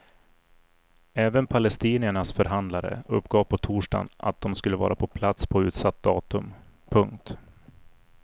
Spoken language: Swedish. Även palestiniernas förhandlare uppgav på torsdagen att de ska vara på plats på utsatt datum. punkt